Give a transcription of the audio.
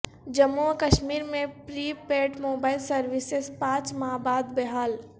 جموں و کشمیر میں prepaid mobile services پانچ ماہ بعد بحال